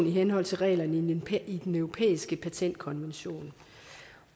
i henhold til reglerne i den europæiske patentkonvention